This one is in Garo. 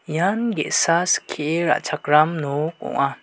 ian ge·sa skie ra·chakram nok ong·a.